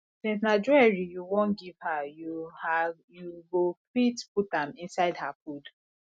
since na jewelry you wan give her you her you go fit put am inside her food